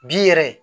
Bi yɛrɛ